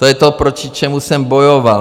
To je to, proti čemu jsem bojoval.